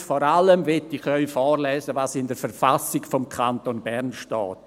Und vor allem möchte ich Ihnen vorlesen, was in der KV steht: